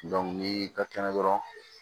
ni dɔ kɛnɛ dɔrɔn